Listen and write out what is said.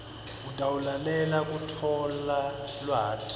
utawulalelela kutfola lwati